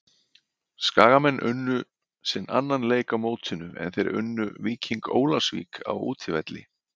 Skagamenn unnu sinn annan leik á mótinu er þeir unnu Víking Ólafsvík á útivelli.